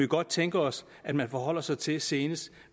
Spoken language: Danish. godt tænke os at man forholder sig til senest